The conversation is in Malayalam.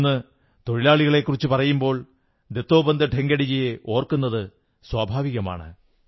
ഇന്ന് തൊഴിലാളികളെക്കുറിച്ചു പറയുമ്പോൾ ദത്തോപന്ത് ഠേംഗഡിയെ ഓർക്കുന്നത് സ്വാഭാവികമാണ്